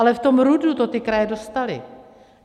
Ale v tom RUDu to ty kraje dostaly.